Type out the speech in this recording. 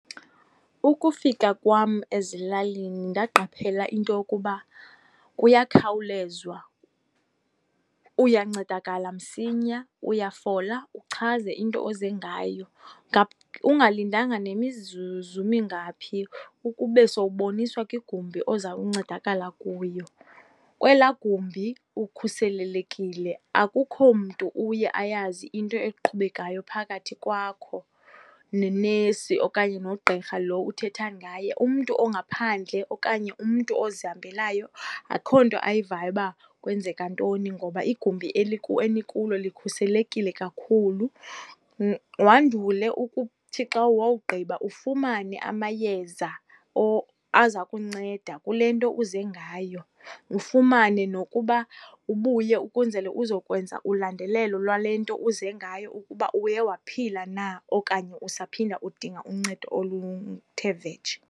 Ukufika kwam ezilalini ndaqaphela into yokuba kuyakhawulezwa, uyancedakala msinya. Uyafola, uchaze into oze ngayo. Ungalindanga nemizuzu mingaphi ukube sowuboniswa ke igumbi ozawuncedakala kuyo. Kwelaa gumbi ukhuselelekile, akukho mntu uye ayazi into eqhubekayo phakathi kwakho nenesi okanye nogqirha lo uthetha ngaye. Umntu ongaphandle okanye umntu ozihambelayo, akukho nto ayivayo uba kwenzeka ntoni ngoba igumbi enikulo likhuselekile kakhulu. Wandule ukuthi xa wawugqiba ufumane amayeza aza kunceda kule nto uze ngayo, ufumane nokuba ubuye ukwenzele uzokwenza ulandelelo lwale nto uze ngayo ukuba uye waphila na okanye usaphinda udinga uncedo oluthe vetshe.